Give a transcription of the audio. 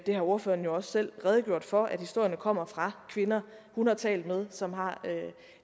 har ordføreren jo også selv redegjort for nemlig at historierne kommer fra kvinder hun har talt med som har